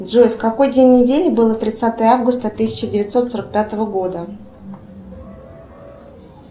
джой в какой день недели было тридцатое августа тысяча девятьсот сорок пятого года